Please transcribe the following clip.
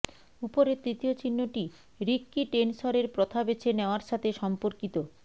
উপরের তৃতীয় চিহ্নটি রিক্কি টেনসরের প্রথা বেছে নেওয়ার সাথে সম্পর্কিতঃ